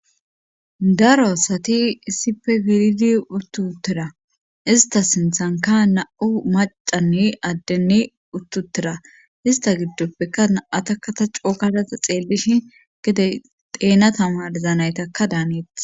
Daro asati issippe gilidi uttutera ista sinthanka na7u macanne addenne uttutera ista giddoppeka atakata cookadata xeellishi gedey teena tamarzanaytaka daaneet.